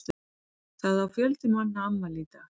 Það á fjöldi manna afmæli í dag.